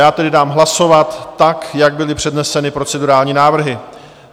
Já tedy dám hlasovat tak, jak byly předneseny procedurální návrhy.